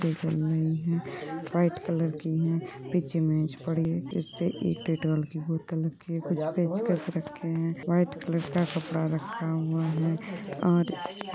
white colour की हैं| पीछे मेज पड़ी है इस्पे एक डेटोल की बोत्तल पड़ी है और इस्पे--